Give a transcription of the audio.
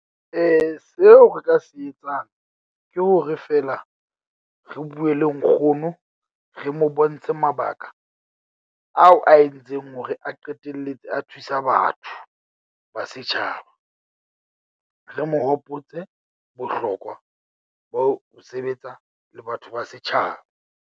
Seo re ka se etsang ke hore feela re bue le nkgono. Re mo bontshe mabaka ao a entseng hore a qetelletse a thusa batho ba setjhaba. Re mo hopotse bohlokwa ba ho sebetsa le batho ba setjhaba.